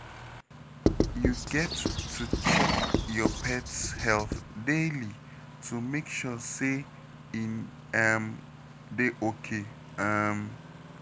You get to check your pet's health daily to make sure say e um dey okay. um